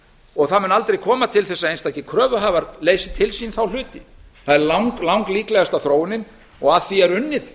og það mun aldrei koma til þess að einstakir kröfuhafar leysi til sín þá hluti það er langlíklegasta þróunin og að því er unnið